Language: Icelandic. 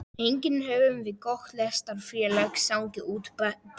Einnig höfðum við gott lestrarfélag sem lánaði út bækur.